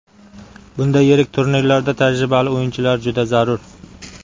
Bunday yirik turnirlarda tajribali o‘yinchilar juda zarur.